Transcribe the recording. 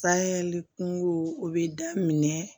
Sayɛli kungow o bɛ daminɛ